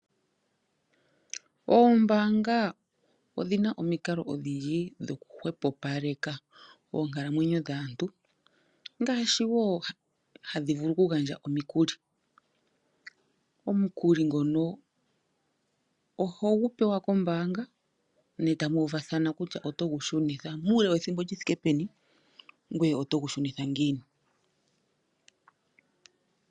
Oombaanga odhina omikalo odhindji dhoku hwepopaleka onkalamwenyo dhaantu ngaashi woo hadhi vulu okugandja omikuli. Omukuli ngono ohogu pewa kombaanga me tamu u vathala kutya oto gu shunitha muule wethimbo lyi thike peni? ngoye oto gu shunitha ngiini?